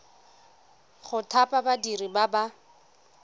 go thapa badiri ba ba